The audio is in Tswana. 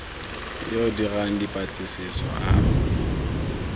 yo o dirang dipatlisiso a